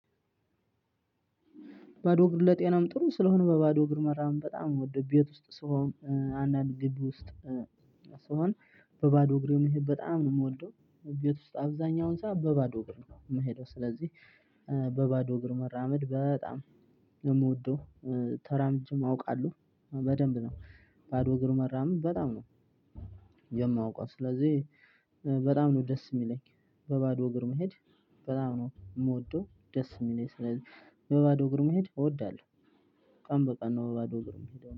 ባዶ እግር ለጤናም ጥሩ ስለሆነ በባዶ እግር መራመድ በጣም ውድ ቤት ውስጥ ስሆን አንዳንድ ግብ ውስጥ። ስሆን በባዶ እግሬ መሄድ በጣም ነው የምወደው ቤት ውስጥ አብዛኛውን ሰዓት በባዶ እግር ነው የምሄደው። ስለዚህ በባዶ እግር መራመድ በጣም ነው ምወደው ተራምጄም አውቃለው በደንብ ነው ባዶ እግር መራመድ በጣም ነው። የማውቀው ስለዚህ በጣም ነው ደስ የሚለኝ በባዶ እግር መሄድ። በጣም ነው የምወደው ደስ የሚለኝ ስለዚህ በባዶ እግር መሄድ እወዳለሁ። ቀን በቀን ነው በባዶ እግር እምሄደው